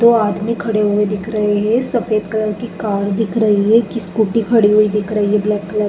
दो आदमी खड़े हुए दिख रहे हैं सफेद कलर की कार दिख रही है। स्कूटी खड़ी हुई दिख रही है ब्लैक कलर --